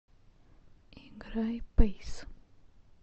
играй пэйс